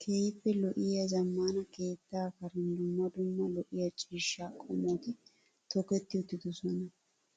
Keehippe lo'iyaa zammaana keettaa karen dumma dumma lo'iyaa ciishshaa qommoti toketti uttidosona.